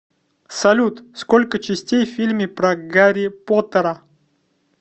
салют сколько частей в фильме про гарри поттера